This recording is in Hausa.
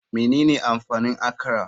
Menene amfanin akra?